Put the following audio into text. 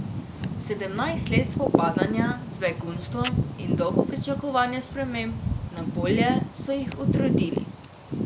Sedemnajst let spopadanja z begunstvom in dolgo pričakovanje sprememb na bolje so jih utrudili.